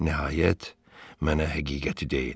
Nəhayət, mənə həqiqəti deyin.